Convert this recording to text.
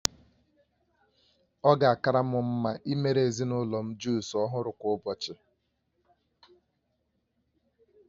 Ọ ga-akara m mma imere ezinụlọ m jusụ ọhụrụ kwa ụbọchị